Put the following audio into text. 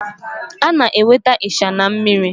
A na-enweta ịsha na mmiri.